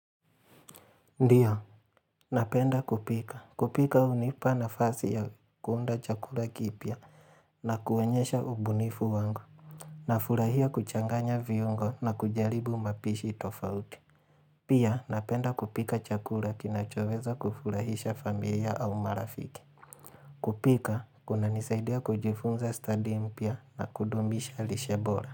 Ndiyo, napenda kupika. Kupika hunipa nafasi ya kuunda chakuka kipya na kuonyesha ubunifu wangu. Na furahia kuchanganya viungo na kujaribu mapishi tofauti. Pia, napenda kupika chakula kinachoweza kufurahisha familia au marafiki. Kupika, kunanisaidia kujifunza study mpya na kudumisha lishe bora.